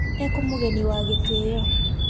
Ekũmũgeni wa gĩtĩo